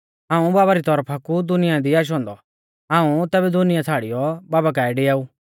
हाऊं बाबा री तौरफा कु दुनिया दी आशौ औन्दौ हाऊं तैबै दुनिया छ़ाड़ियौ बाबा काऐ डिआऊ